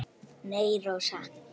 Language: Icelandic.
Nei, Rósa.